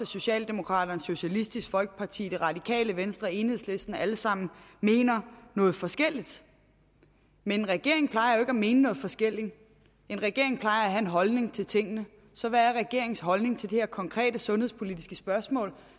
socialdemokraterne socialistisk folkeparti radikale venstre enhedslisten alle sammen noget forskelligt men en regering plejer jo ikke at mene noget forskelligt en regering plejer at have en holdning til tingene så hvad er regeringens holdning til det her konkrete sundhedspolitiske spørgsmål